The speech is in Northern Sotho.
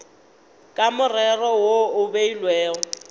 ka morero wo o beilwego